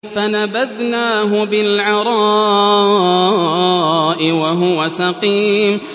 ۞ فَنَبَذْنَاهُ بِالْعَرَاءِ وَهُوَ سَقِيمٌ